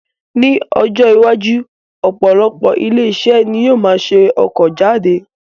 Ní ọjọ́ iwájú, opolopo ile-ise ni yoo maa se oko jade